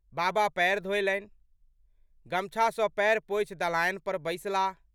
बाबा पएर धोलनि। गमछा सँ पएर पोछि दलान पर बैसलाह।